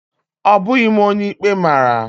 Ọ bụghị m onye ikpe mara